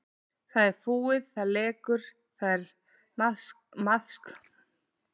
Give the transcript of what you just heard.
Það er fúið, það lekur, það er maðksmogið og þar er músagangur.